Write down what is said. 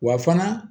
Wa fana